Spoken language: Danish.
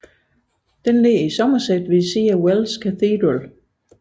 Den ligger i Somerset ved siden af Wells Cathedral